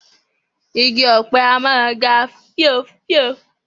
Igi òpe a máa ga fíofío